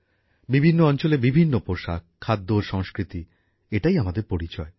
বিভিন্ন অঞ্চলের বিভিন্ন পোশাক খাদ্য ও সংস্কৃতি এটাই আমাদের পরিচয়